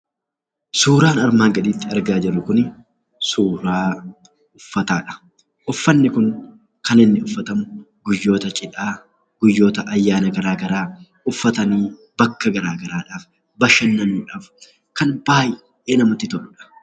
Suuraan armaan gaditti argaa jirru kun suuraa uffataadha. Uffanni kun kan inni uffatamu guyyoota cidhaa, guyyoota ayyaanaa garaa garaa uffatanii bakka gara garaadhaaf, bashannanuudhaaf kan baayyee namatti toluudha.